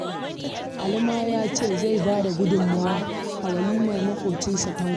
Ali ma ya ce zai ba da gudunmawa a walimar maƙwacinsa Tanko